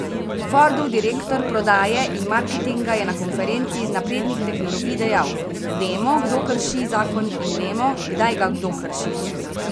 Fordov direktor prodaje in marketinga je na konferenci naprednih tehnologij dejal: 'Vemo, kdo krši zakon, in vemo, kdaj ga kdo krši.